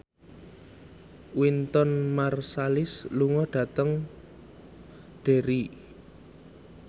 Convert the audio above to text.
Wynton Marsalis lunga dhateng Derry